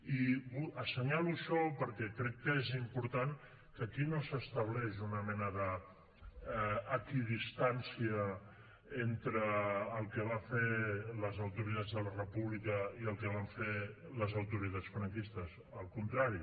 i assenyalo això perquè crec que és important que aquí no s’estableix una mena d’equidistància entre el que van fer les autoritats de la república i el que van fer les autoritats franquistes al contrari